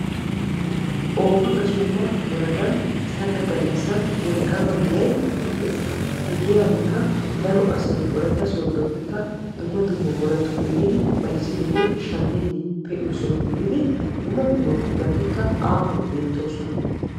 oofa gasuba woradan sagga gallassan wolqqama giyay eqqees. he giyankka daro asay wolaytta sooddoppenne dumma dumma woradatuppe yiidi bayzzidine shammidi pe'iyo soho gididi dumma dummabuqutati aahuwan beettoosona.